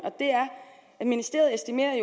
ministeriet estimerer at